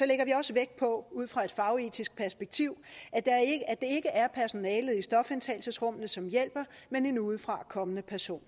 lægger vi også vægt på ud fra et fagetisk perspektiv at det ikke er personalet i stofindtagelsesrummene som hjælper men en udefrakommende person